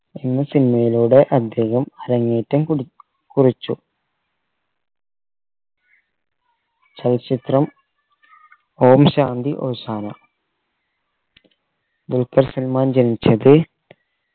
എന്ന cinema യിലൂടെ അദ്ദേഹം അരങ്ങേറ്റം കുടി കുറിച്ചു ചലച്ചിത്രം ഓം ശാന്തി ഓശാന ദുൽഖർ സൽമാൻ ജനിച്ചത്